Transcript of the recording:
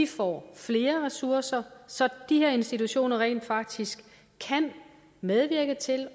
får flere ressourcer så de her institutioner rent faktisk kan medvirke til